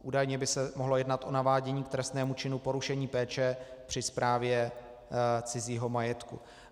Údajně by se mohlo jednat o navádění k trestnému činu porušení péče při správě cizího majetku.